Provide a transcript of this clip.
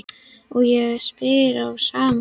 Og ég spyr á sama hátt